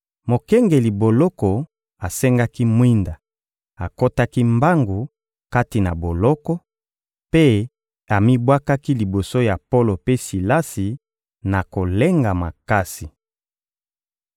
Mokengeli boloko asengaki mwinda, akotaki mbangu kati na boloko, mpe amibwakaki liboso ya Polo mpe Silasi na kolenga makasi.